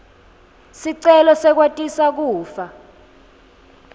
sicelo sekwatisa kufa